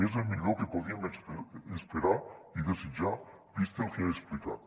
és el millor que podíem esperar i desitjar vist el que he explicat